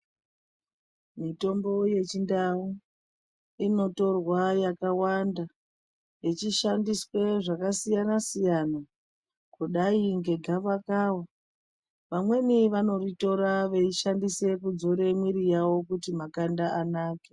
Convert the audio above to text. Mitombo yechinda, inotorwa yakawanda, yechishsndiswe zvakasiyana-siyana, kudai ngegavakava. Vamweni vanoritora veishandise veidzore mwiiri yavo kuti makanda anake.